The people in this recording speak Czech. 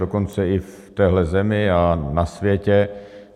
Dokonce i v téhle zemi a na světě.